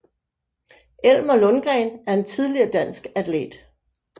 Elmer Lundgren er en tidligere dansk atlet